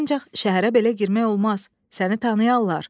Ancaq şəhərə belə girmək olmaz, səni tanıyardılar.